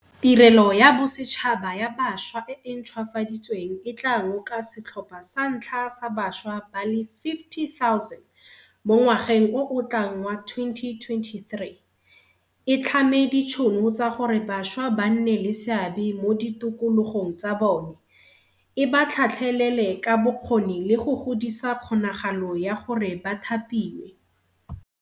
Tirelo ya Bosetšhaba ya Bašwa e e ntšhwafaditsweng e tla ngoka setlhopha sa ntlha sa bašwa ba le 50 000 mo ngwageng o o tlang wa 2023, e tlhame ditšhono tsa gore bašwa ba nne le seabe mo ditokologong tsa bone, e ba tlhatlhelele ka bokgoni le go godisa kgonagalo ya gore ba thapiwe.